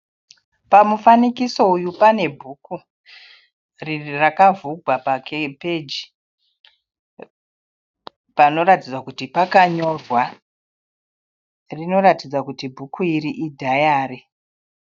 Pamufanikiso uyu pane bhuku rakavhurwa pa peji. Panoratidza kuti pakanyorwa. Rinoratidza kuti bhuku iri idhayari.